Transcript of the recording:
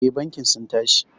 Eh bankin sun tashi.